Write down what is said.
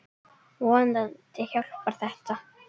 Vonandi hjálpar þetta.